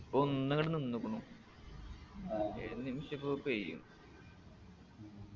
ഇപ്പൊന്നിങ്ങട് നിന്നിക്കുണു ഏത് നിമിഷിപ്പോ പെയ്യും